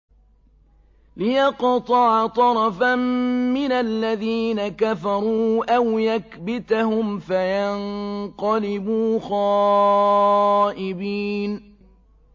لِيَقْطَعَ طَرَفًا مِّنَ الَّذِينَ كَفَرُوا أَوْ يَكْبِتَهُمْ فَيَنقَلِبُوا خَائِبِينَ